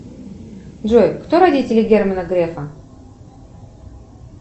джой кто родители германа грефа